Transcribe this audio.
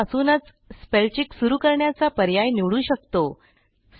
नंतर आपण डॉक्युमेंटच्या सुरूवातीपासूनच स्पेलचेक सुरू करण्याचा पर्याय निवडू शकतो